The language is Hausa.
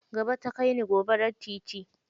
Gaba ta kai ni, gobarar titi.